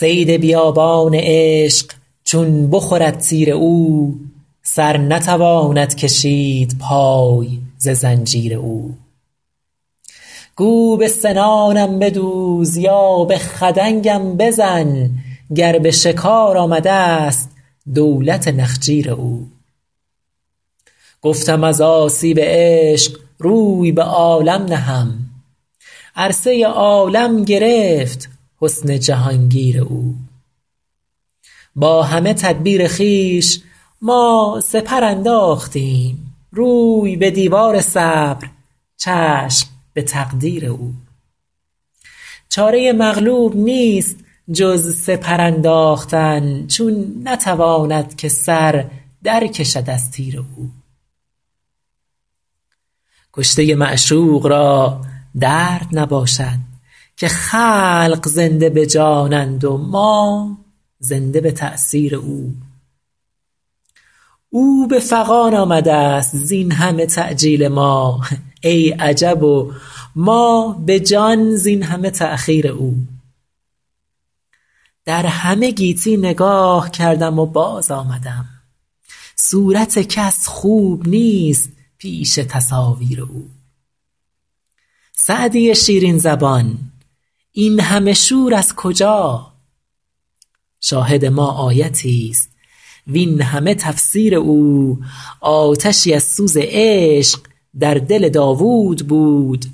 صید بیابان عشق چون بخورد تیر او سر نتواند کشید پای ز زنجیر او گو به سنانم بدوز یا به خدنگم بزن گر به شکار آمده ست دولت نخجیر او گفتم از آسیب عشق روی به عالم نهم عرصه عالم گرفت حسن جهان گیر او با همه تدبیر خویش ما سپر انداختیم روی به دیوار صبر چشم به تقدیر او چاره مغلوب نیست جز سپر انداختن چون نتواند که سر در کشد از تیر او کشته معشوق را درد نباشد که خلق زنده به جانند و ما زنده به تأثیر او او به فغان آمده ست زین همه تعجیل ما ای عجب و ما به جان زین همه تأخیر او در همه گیتی نگاه کردم و باز آمدم صورت کس خوب نیست پیش تصاویر او سعدی شیرین زبان این همه شور از کجا شاهد ما آیتی ست وین همه تفسیر او آتشی از سوز عشق در دل داوود بود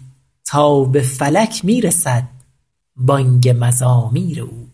تا به فلک می رسد بانگ مزامیر او